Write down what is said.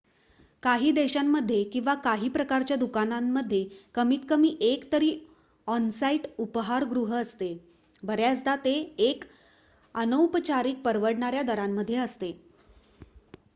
काही देशांमध्ये किंवा काही प्रकारच्या दुकानांमध्ये कमीत कमी 1 तरी ऑन-साईट उपाहारगृह असते बऱ्याचदा ते 1 अनौपचारिक परवडणाऱ्या दरामध्ये असते